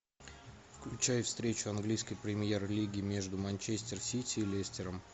включай встречу английской премьер лиги между манчестер сити и лестером